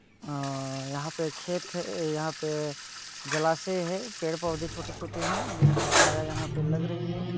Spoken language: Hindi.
यहाँ पे खेत यहाँ पे जालासे हे पेड़ पोधे छोटे छोटे हे जिन की छाया यहाँ पे लग रही हैं।